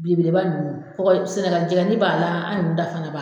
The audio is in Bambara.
Belebeleba ninnu, sɛnɛgali jɛgɛni b'a la, an yɛrɛw fana ta b'a la.